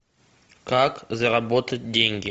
как заработать деньги